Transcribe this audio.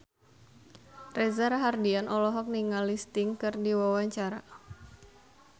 Reza Rahardian olohok ningali Sting keur diwawancara